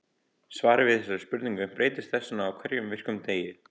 Svarið við þessari spurning breytist þess vegna á hverjum virkum degi.